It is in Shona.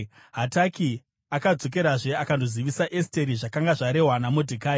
Hataki akadzokerazve akandozivisa Esteri zvakanga zvarehwa naModhekai.